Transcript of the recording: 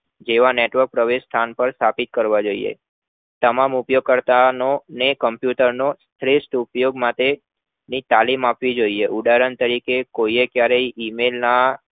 જેવા network પ્રવેશ સ્થાન પર થી કરવા જોય્યે આમાં મુખ્ય કર્તાનો ને computer નો શ્રેષ્ઠ ઉપયોગ માટે ની તાલીમ આપવી જોય્યે ઉદાહરણ તરીકે કોઈએ ક્યારેય email ના